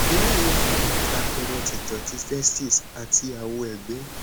eyi yoo fi hàn àpẹrẹ tìtọ ti testis àti awọẹgbẹ